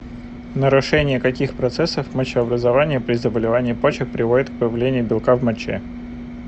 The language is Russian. нарушение каких процессов мочеобразования при заболевании почек приводит к появлению белка в моче